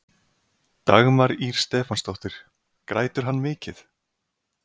Dagmar Ýr Stefánsdóttir: Grætur hann mikið?